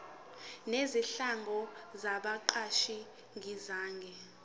nezinhlangano zabaqashi zingenza